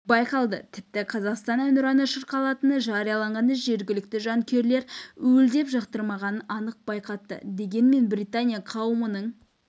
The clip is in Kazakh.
байқалды тіпті қазақстан әнұраны шырқалатыны жарияланғанда жергілікті жанкүйерлер уілдеп жақтырмағанын анық байқатты дегенмен британия қауымының